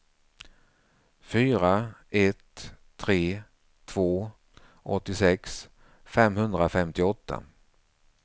fyra ett tre två åttiosex femhundrafemtioåtta